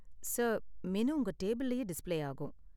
Sir, menu உங்க டேபிள்லயே display ஆகும்.